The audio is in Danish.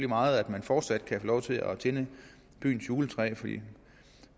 meget at man fortsat kan få lov til at tænde byens juletræ